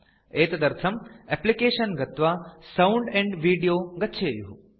एतदर्थं एप्लिकेशन गत्वा sound and video गच्छेयुः